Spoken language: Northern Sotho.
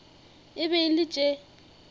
e be e le tše